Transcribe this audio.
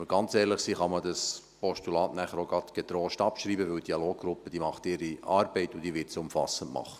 Wenn wir ganz ehrlich sind, kann man das Postulat danach auch getrost abschreiben, weil die Dialoggruppe ihre Arbeit machen wird und dies auch umfassend.